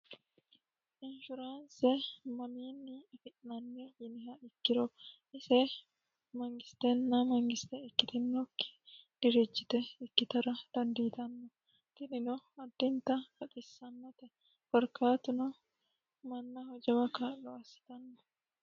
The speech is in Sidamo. inshuraanse mamiinni afi'nanni yiniha ikkiro ise mangisteenna mangistte ikkitinokki dirijjite ikkitara dandiitanno tinino addinta baxissannote korkaatuno mannaho jawa ka'lo assitanno